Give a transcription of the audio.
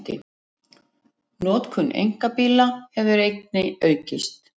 Notkun einkabíla hefur einnig aukist